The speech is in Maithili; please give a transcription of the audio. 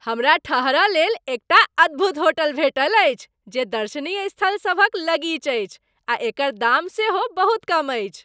हमरा ठहरय लेल एकटा अद्भुत होटल भेटल अछि जे दर्शनीय स्थलसभक लगीच अछि आ एकर दाम सेहो बहुत कम अछि।